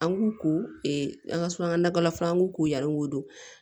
An k'u ko an ka suraka na dalafura an k'u ko yani o